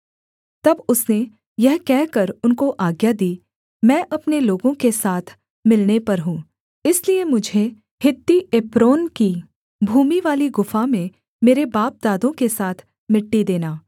तब उसने यह कहकर उनको आज्ञा दी मैं अपने लोगों के साथ मिलने पर हूँ इसलिए मुझे हित्ती एप्रोन की भूमिवाली गुफा में मेरे बापदादों के साथ मिट्टी देना